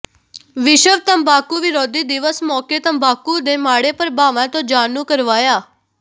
ਵਿਸ਼ਵ ਤੰਬਾਕੂ ਵਿਰੋਧੀ ਦਿਵਸ ਮੌਕੇ ਤੰਬਾਕੂ ਦੇ ਮਾੜੇ ਪ੍ਰਭਾਵਾਂ ਤੋਂ ਜਾਣੂੰ ਕਰਵਾਇਆ